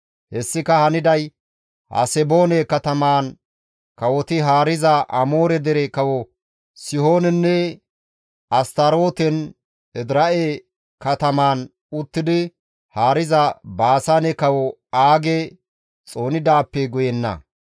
Hessika haniday Haseboone katamaan kawoti haariza Amoore dere kawo Sihoonenne Astarooten, Edira7e katamaan uttidi haariza Baasaane kawo Aage xoonidaappe guyenna.